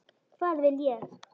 Hvað vil ég?